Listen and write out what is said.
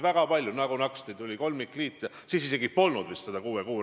Aga Hanno Pevkur rääkis sisuliselt sellest, kas me usume, et ta on täiesti erapooletu.